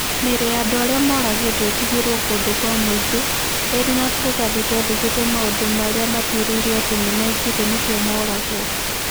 Mĩĩrĩ ya andũ arĩa moragĩtwo ĩtigĩrũo kũndũ kwa mũingĩ, ĩrĩ na tũratathi tũandĩkĩtwo maũndũ marĩa ma tuĩrĩirwo ati nimeekĩte nikio mooragũo.